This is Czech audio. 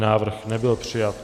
Návrh nebyl přijat.